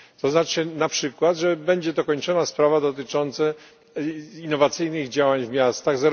Znaczy to na przykład, że będzie dokończona sprawa dotycząca innowacyjnych działań w miastach, tj.